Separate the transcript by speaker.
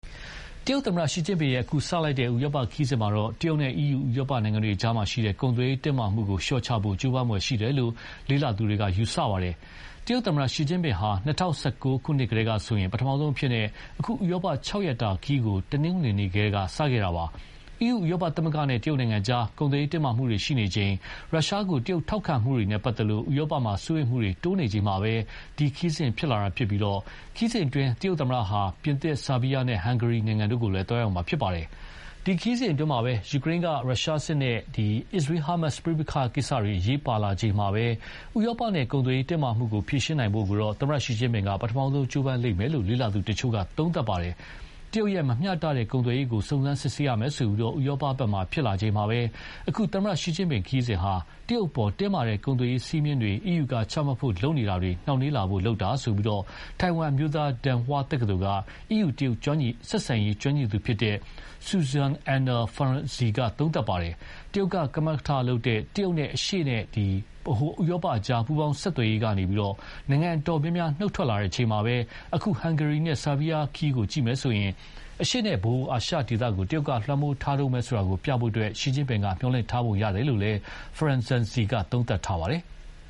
Speaker 1: တရုတ်သမ္မတ ရှီကျင့်ဖျင်ရဲ့ အခုစတင်လိုက်တဲ့ ဥရောပခရီးစဉ်မှာတော့ တရုတ်နဲ့ အီးယူ ဥရောပနိုင်ငံတွေကြား ကုန်သွယ်ရေးတင်းမာမှုကို လျှော့ချဖို့ ကြိုးပမ်းဖွယ်ရှိတယ်လို့ သုံးသပ်သူတွေက ယူဆကြပါတယ်။ တရုတ်သမ္မတ Xi Jinping ဟာ ၂၀၁၉ ခုနှစ်ကတည်းကဆိုရင် ပထမဆုံးအဖြစ် အခု ဥရောပ ၆ ရက်တာခရီးကို တနင်္ဂနွေနေ့က စခဲ့တာပါ။ အီးယူဥရောပသမဂ္ဂနဲ့ တရုတ်နိုင်ငံကြား ကုန်သွယ်ရေးတင်းမာမှုတွေရှိနေချိန် ရုရှားကို တရုတ်ထောက်ခံမှုတွေနဲ့ပတ်သက်လို့ ဥရောပမှာ စိုးရိမ်နေချိန်မှာပဲ ဒီခရီးစဉ်ဖြစ်လာပြီး ခရီးစဉ်မှာ တရုတ်သမ္မတဟာ ပြင်သစ်၊ ဆာဗီးယားနဲ့ ဟန်ဂေရီတို့ကိုလည်း သွားရောက်မှာဖြစ်ပါတယ်။ ဒီခရီးစဉ်အတွင်း ယူကရိန်းက ရုရှားစစ်နဲ့ အစ္စရေး-ဟာမတ်စ်ပဋိပက္ခကိစ္စတွေ အရေးပါလာချိန်မှာပဲ ဥရောပနဲ့ ကုန်သွယ်ရေးတင်းမာမှုကိုဖြေရှင်းနိုင်ဖို့ သမ္မတရှီကျင့်ဖျင်က ပထမဆုံးကြိုးပမ်းလိမ့်မယ်လို့ လေ့လာသူတချို့က သုံးသပ်ပါတယ်။ တရုတ်ရဲ့မမျှတတဲ့ကုန်သွယ်ရေးကို စုံစမ်းစစ်ဆေးရမယ်ဆိုပြီး ဥရောပဘက်မှာဖြစ်လာချိန်မှာပဲ အခု သမ္မတရှီကျင့်ဖျင်ခရီးစဉ်ဟာ တရုတ်အပေါ် တင်းမာတဲ့ကုန်သွယ်ရေးစည်းမျဉ်းတွေ အီးယူကချမှတ်ဖို့လုပ်နေတာတွေ နှောင့်နှေးလာဖို့ လုပ်တာလို့ ထိုင်ဝမ် Dong Hwa အမျိုးသားတက္ကသိုလ်က အီးယူ-တရုတ် ဆက်ဆံရေး ကျွမ်းကျင်သူ Zsuzsa Anna Ferenczy က သုံးသပ်ပါတယ်။ တရုတ်က ကမကထလုပ်တဲ့ တရုတ်နဲ့ အရှေ့နဲ့ဗဟိုဥရောပကြား ပူးပေါင်းဆောင်ရွက်ရေးကနေ နိုင်ငံအတော်များများ နှုတ်ထွက်လာချိန်မှာပဲ အခု ဟန်ဂေရီနဲ့ ဆာဗီးယားခရီးကိုကြည့်မယ်ဆိုရင် အရှေ့နဲ့ဗဟိုအာရှဒေသကို တရုတ်က လွှမ်းမိုးထားတုန်းပဲဆိုတာကိုပြဖို့ ရှီကျင့်ဖျင်က မျှော်လင့်ထားပုံရတယ်လို့လည်း Ferenaczy က သုံးသပ်ပါတယ်။